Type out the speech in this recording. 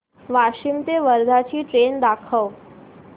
वाशिम ते वर्धा ची ट्रेन दाखव